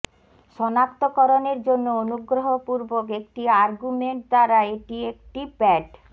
সনাক্তকরণের জন্য অনুগ্রহপূর্বক একটি আর্গুমেন্ট দ্বারা এটি একটি প্যাড